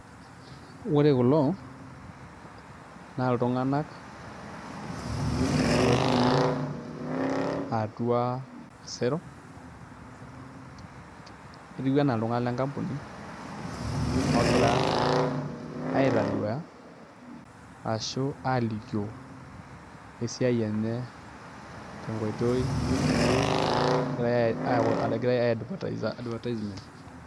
Ore kulo naa iltung'anak ootii atua osero. Etiu enaa iltung'ana le kampuni ogira aitaduya ashu alikio esiai enye tenkoitoi egira aaii advertise advertising.